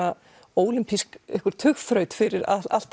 ólympísk tugþraut fyrir allt